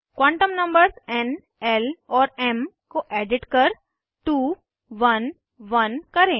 quantum numbers n l और m को edit कर 2 1 1 करें